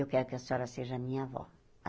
Eu quero que a senhora seja a minha avó.